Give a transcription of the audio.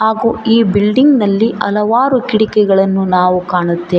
ಹಾಗೂ ಈ ಬಿಲ್ಡಿಂಗ್ ನಲ್ಲಿ ಹಲವಾರು ಕಿಟಕಿಗಳನ್ನು ನಾವು ಕಾಣುತ್ತೇವೆ.